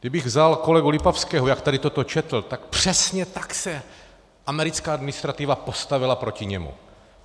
Kdybych vzal kolegu Lipavského, jak tady toto četl, tak přesně tak se americká administrativa postavila proti němu.